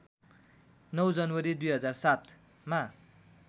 ९ जनवरी २००७ मा